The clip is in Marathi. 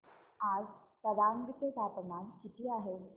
आज तवांग चे तापमान किती आहे